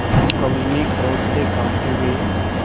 भानुकुँवरि ने क्रोध से कॉँपते हुए